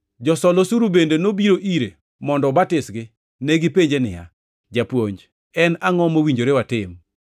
Josol osuru bende nobiro ire mondo obatisgi. Negipenje niya, “Japuonj. En angʼo mowinjore watim?”